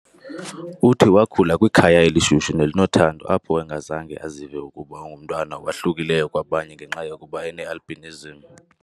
Uthi wakhula kwikhaya elishushu nelinothando apho engazange azive ukuba ungumntwana owahlukileyo kwabanye ngenxa yokuba ene-albinism .